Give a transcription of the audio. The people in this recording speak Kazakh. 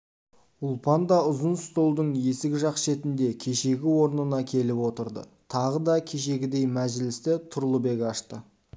ұлпан да ұзын столдың есік жақ шетіне кешегі орнына келіп отырды тағы да кешегідей мәжілісті тұрлыбек ашты